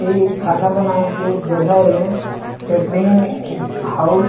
ए खाना बनाए के जगह ए कटेरिंगहॉउस --